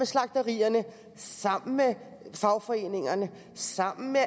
slagterierne sammen med fagforeningerne sammen med